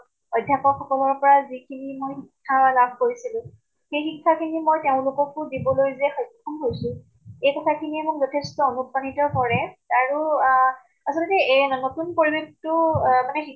অধ্য়াপক সকলৰ পৰা যিখিনি মই শিক্ষা লাভ কৰিছিলো, সেই শিক্ষা খিনি মই তেওঁলোককো দিবলৈ যে স্ক্ষম হৈছো, এই কথা খিনিয়ে মোক যথেষ্ট অনুপ্ৰাণিত কৰে। আৰু আহ আচলতে এ নতুন পৰিবেশ্টো এহ মানে